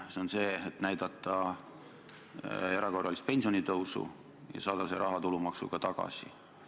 See oli see, et taheti näidata, et toimub erakorraline pensionitõus, ja saada siis see raha tulumaksuga tagasi.